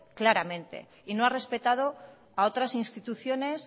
claramente y no ha respetado a otras instituciones